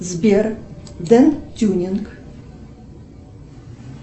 сбер ден тюнинг